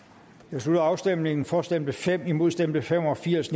slutter afstemningen for stemte fem imod stemte fem og firs